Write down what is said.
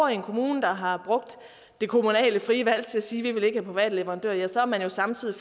i en kommune der har brugt det kommunale frie valg til at sige at de ikke private leverandører ja så er man jo samtidig